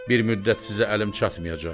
Bir müddət sizə əlim çatmayacaq.